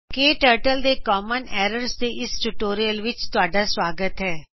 ਕਟਰਟਲ ਵਿੱਚ common errors ਦੇ ਇਸ ਟਿਯੂਟੋਰਿਅਲ ਵਿੱਚ ਤੁਹਾਡਾ ਸੁਆਗਤ ਹੈ